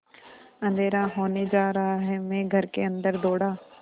अँधेरा होने जा रहा है मैं घर के अन्दर दौड़ा